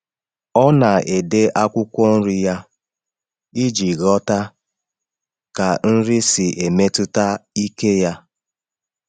Ọ na-ede akwụkwọ nri ya iji ghọta ka nri si emetụta ike ya.